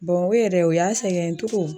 Bamako yɛrɛ o y'a sɛgɛn